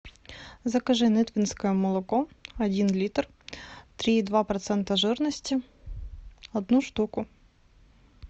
закажи нытвенское молоко один литр три и два процента жирности одну штуку